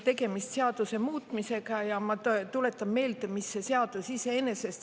Tegemist on seaduse muutmisega ja ma tuletan meelde, mida see seadus enesest kujutab.